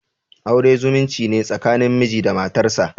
Aure zumunci ne tsakanin miji da matarsa.